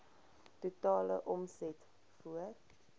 totale omset voor